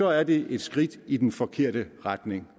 er det et skridt i den forkerte retning